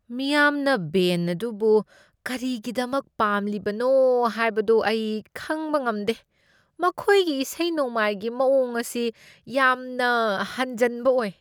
ꯃꯤꯌꯥꯝꯅ ꯕꯦꯟ ꯑꯗꯨꯕꯨ ꯀꯔꯤꯒꯤꯗꯃꯛ ꯄꯥꯝꯂꯤꯕꯅꯣ ꯍꯥꯏꯕꯗꯨ ꯑꯩ ꯈꯪꯕ ꯂꯝꯗꯦ꯫ ꯃꯈꯣꯏꯒꯤ ꯏꯁꯩ ꯅꯣꯡꯃꯥꯏꯒꯤ ꯃꯥꯑꯣꯡ ꯑꯁꯤ ꯌꯥꯝꯅ ꯍꯟꯖꯟꯕ ꯑꯣꯏ ꯫